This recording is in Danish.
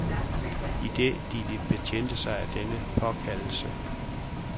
Idet de betjente sig af denne påkaldelse.